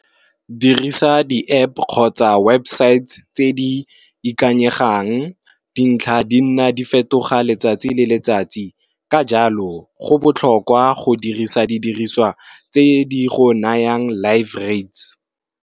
Dirisa di App kgotsa website tse di ikanyegang, dintlha di nna di fetoga letsatsi le letsatsi ka jalo go botlhokwa go dirisa di diriswa tse di go nayang life rates.